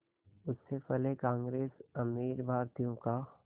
उससे पहले कांग्रेस अमीर भारतीयों का